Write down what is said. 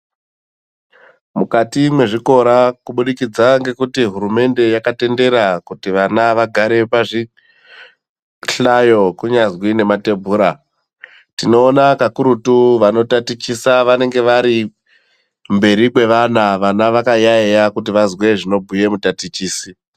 Mukati mwezvikora kubudikidza ngekuti hurumende yakatendera kuti vana vagare pazvihlayo kunyazwi nematembura. Tinoona kakurutu vanotatichisa vanenge vari mberi kwevana, vana vakayaiya kuti vazwe zvinobhuya mutatichisi.